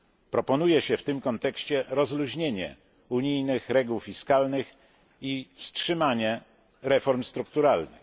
Proponuje się w tym kontekście rozluźnienie unijnych reguł fiskalnych i wstrzymanie reform strukturalnych.